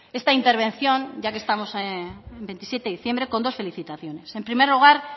esta intervención ya que estamos en veintisiete diciembre con dos felicitaciones en primer lugar